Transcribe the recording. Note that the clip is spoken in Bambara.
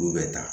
Olu bɛ taa